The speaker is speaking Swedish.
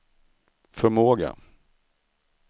förmåga